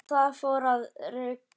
Og það fór að rigna.